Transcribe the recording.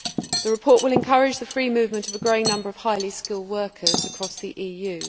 The report will encourage the free movement of a growing number of highly skilled workers across the EU.